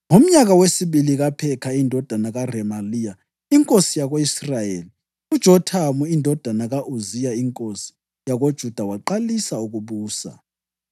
Ngomnyaka wesibili kaPhekha indodana kaRemaliya inkosi yako-Israyeli, uJothamu indodana ka-Uziya inkosi yakoJuda waqalisa ukubusa.